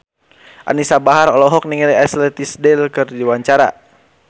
Anisa Bahar olohok ningali Ashley Tisdale keur diwawancara